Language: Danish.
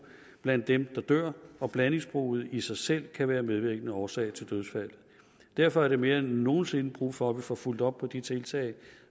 blandt dem der dør og blandingsbruget i sig selv kan være medvirkende årsag til dødsfald derfor er der mere end nogensinde brug for at vi får fulgt op på de tiltag